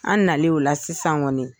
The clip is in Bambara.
An nale o la sisan kɔni.